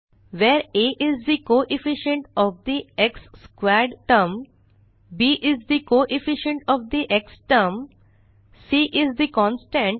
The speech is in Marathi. where a is the coefficient of the x squared term b is the coefficient of the x term c is the constant